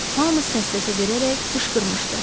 Hamı səs-səsə verərək qışqırmışdı.